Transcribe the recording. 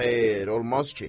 Xeyr, olmaz ki.